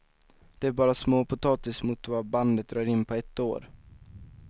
Det är bara småpotatis mot vad bandet drar in på ett år.